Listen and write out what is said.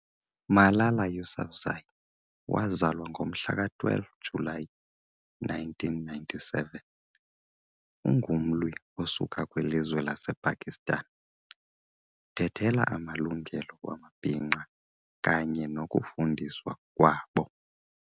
Malala Yousafzai, wazalwa ngomhla ka 12 July 1997, ungumlwi usuka kwi lizwe lase Pakistan. uthethela amalungelo wamabinqa kanye nokufundiswa kwabo.